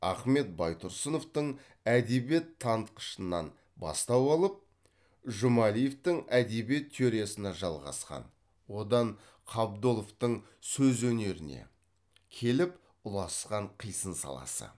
ахмет байтұрсыновтың әдебиет танытқышынан бастау алып жұмалиевтің әдебиет теориясына жалғасқан одан қабдоловтың сөз өнеріне келіп ұласқан қисын саласы